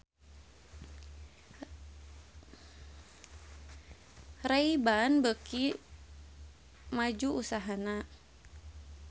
Ray Ban beuki maju usahana